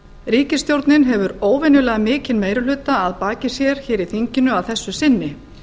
ríkisstjórnin hefur óvenjulega mikinn meiri hluta að baki sér hér í þinginu að þessu sinni